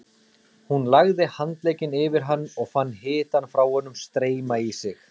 Hún lagði handlegginn yfir hann og fann hitann frá honum streyma í sig.